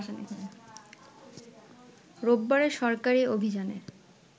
রোববারের সরকারি অভিযানের